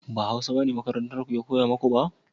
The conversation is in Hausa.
ba hausa bane makarantar ku ya koya muku ba?